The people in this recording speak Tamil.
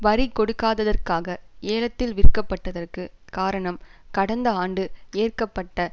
வரி கொடுக்காததற்காக ஏலத்தில் விற்கப்பட்டதற்கு காரணம் கடந்த ஆண்டு ஏற்கபட்ட